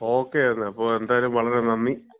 Okay എന്നാ, അപ്പം എന്തായാലും വളരെ നന്ദി.